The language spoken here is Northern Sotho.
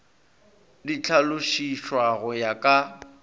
di hlalošišwa go ya ka